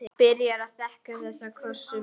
Byrjar að þekja það kossum.